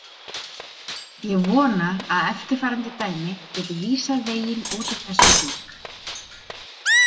Ég vona að eftirfarandi dæmi geti vísað veginn út úr þessum hring.